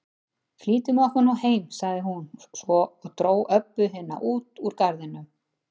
Flýtum okkur nú heim, sagði hún svo og dró Öbbu hina út úr garðinum.